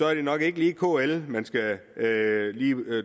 er det nok ikke lige kl man skal